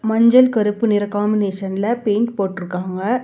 மஞ்சள் கருப்பு நிற காம்பினேஷன்ல பெயிண்ட் போட்டுருக்காங்க.